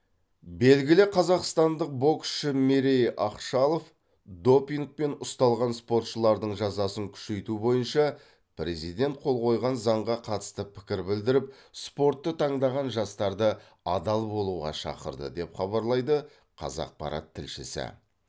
белгілі қазақстандық боксшы мерей ақшалов допингпен ұсталған спортшылардың жазасын күшейту бойынша президент қол қойған заңға қатысты пікір білдіріп спортты таңдаған жастарды адал болуға шақырды деп хабарлайды қазақпарат тілшісі